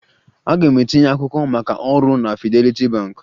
Aga m etinye akwụkwọ maka ọrụ na Fidelity Bank.